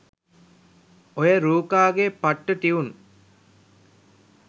ඔය රූකා ගේ පට්ට ටියුන්